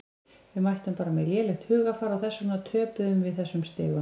Við mættum bara með lélegt hugarfar og þess vegna töpuðum við þessum stigum.